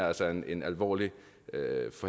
altså er en alvorlig